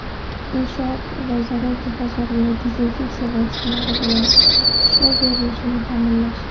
inshoot va zarur jihozlarga dezinfeksiya vositalari bilan ishlov berilishini ta’minlash;.